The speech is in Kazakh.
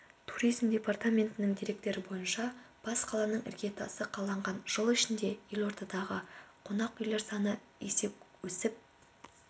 туризм департаментінің деректері бойынша бас қаланың іргетасы қаланған жыл ішінде елордадағы қонақүйлер саны есе өсіп